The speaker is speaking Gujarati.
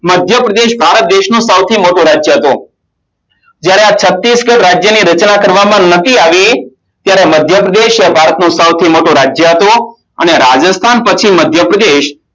મધ્યપ્રદેશ બહારનું સૌ થી મોટું રાજ્ય હતું જયારે છાતીશગઢ રાજ્ય ની રચના કરવામાં નથી આવી તેમાં મધ્યપ્રદેશ એ ભારતનું સૌથી મોટું રાજ્ય હતું અને રાજસ્થાન પછી મધ્યપ્રદેશ